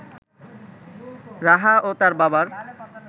রাহা ও তার বাবার